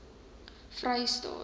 vrystaat